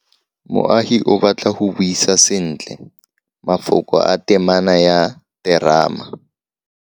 Moagi o batla go buisa sentle, mafoko a temana ya terama.